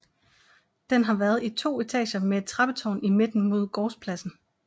Den har været i to etager med et trappetårn i midten mod gårdspladsen